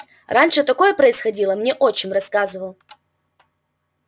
раньше такое происходило мне отчим рассказывал